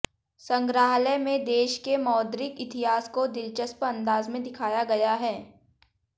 संग्रहालय में देश के मौद्रिक इतिहास को दिलचस्प अंदाज में दिखाया गया है